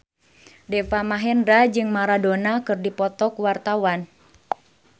Deva Mahendra jeung Maradona keur dipoto ku wartawan